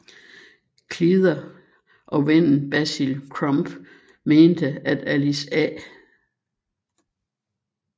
Cleather og vennen Basil Crump mente at Alice A